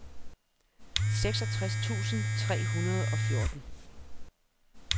seksogtres tusind tre hundrede og fjorten